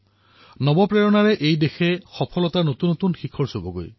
এই দেশক নতুন প্ৰেৰণাৰ সৈতে নতুন উচ্চতালৈ লৈ যাব